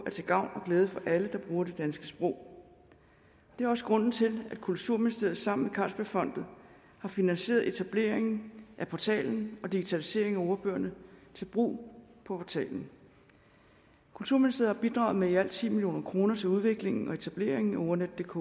til gavn og glæde for alle der bruger det danske sprog det er også grunden til at kulturministeriet sammen med carlsbergfondet har finansieret etableringen af portalen og digitaliseringen af ordbøgerne til brug på portalen kulturministeriet har bidraget med i alt ti million kroner til udviklingen og etableringen af ordnetdk